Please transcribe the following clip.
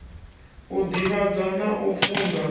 u divhadza na u funza